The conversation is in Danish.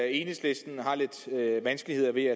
enhedslisten har lidt vanskeligheder ved